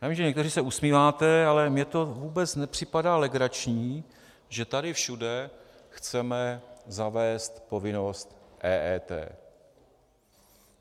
Já vím, že někteří se usmíváte, ale mně to vůbec nepřipadá legrační, že tady všude chceme zavést povinnost EET.